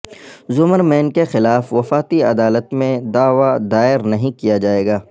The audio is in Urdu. زمر مین کے خلاف وفاقی عدالت میں دعوی دائر نہیں کیا جائے گا